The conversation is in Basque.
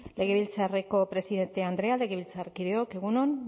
legebiltzarreko presidente andrea legebiltzarkideok egun on